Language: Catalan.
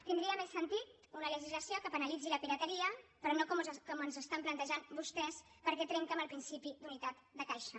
tindria més sentit una legislació que penalitzi la pirateria però no com ens ho estan plantejant vostès perquè trenca amb el principi d’unitat de caixa